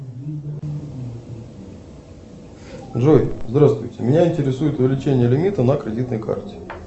джой здравствуйте меня интересует увеличение лимита на кредитной карте